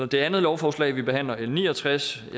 det andet lovforslag vi behandler l ni og tres